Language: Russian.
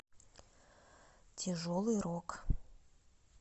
тяжелый рок